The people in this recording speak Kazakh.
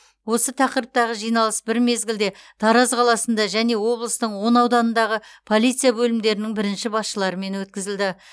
осы тақырыптағы жиналыс бір мезгілде тараз қаласында және облыстың он ауданындағы полиция бөлімдерінің бірінші басшыларымен өткізілді